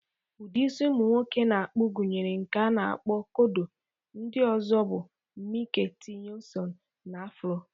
Udị isi ụmụ nwoke na-akpụ gụnyere nke a na-akpo "kodo", ndị ọzọ bụ "Mike Tyson", na "Afro".